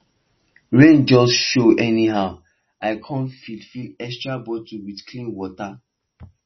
rain just show anyhow i come fill fill extra bottles with clean water